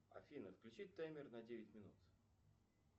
афина включи таймер на девять минут